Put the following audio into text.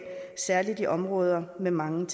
særlig i områder med mange